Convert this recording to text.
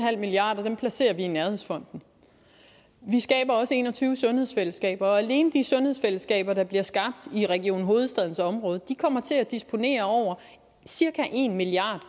milliard kroner placerer vi i nærhedsfonden vi skaber også en og tyve sundhedsfællesskaber og alene de sundhedsfællesskaber der bliver skabt i region hovedstadens område kommer til at disponere over cirka en milliard